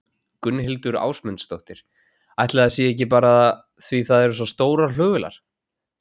Gunnhildur Ásmundsdóttir: Ætli það sé ekki bara því það eru svo stórar flugvélar?